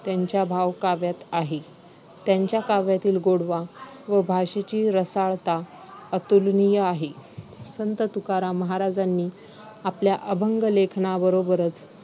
त्यांच्या भावकाव्यात आहे. त्यांच्या काव्यातील गोडवा व भाषेची रसाळता अतुलनीय आहे. संत तुकाराम महाराजांनी आपल्या अभंगलेखनाबरोबरच